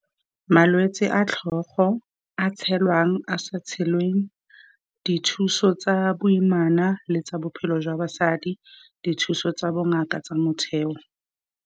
Malwetse a tlhogo, a tshelwang, a sa tshelweng, dithuso tsa boimana le tsa bophelo jwa basadi, dithuso tsa bongaka tsa motheo.